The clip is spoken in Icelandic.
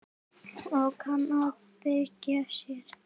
Og kann að bjarga sér.